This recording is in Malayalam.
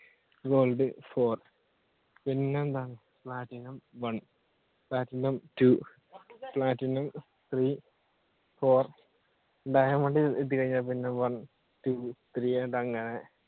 gold four പിന്നെന്താ platinum one, platinum two, platinum three, four, diamond ഇതുകഴിഞ്ഞ പിന്നെ one, two, three അങ്ങനെ